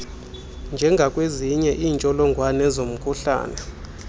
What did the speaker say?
njengakwezinye iintsholongwane zomkhuhlane